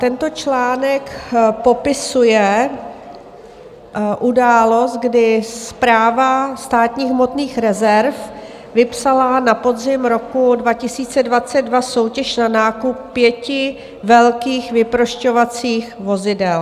Tento článek popisuje událost, kdy Správa státních hmotných rezerv vypsala na podzim roku 2022 soutěž na nákup pěti velkých vyprošťovacích vozidel.